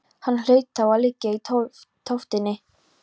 Hann hlaut þá að liggja í tóftinni.